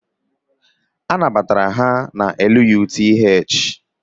E nabatara ha na Lutu